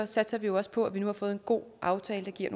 satser vi jo også på at vi nu har fået en god aftale der giver